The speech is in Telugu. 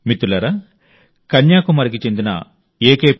మిత్రులారా కన్యాకుమారికి చెందిన తిరు ఎ